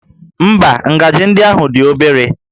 Ḿbá, ngaji ndị ahụ dị obere